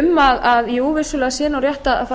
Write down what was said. um að jú vissulega sé nú rétt að fara að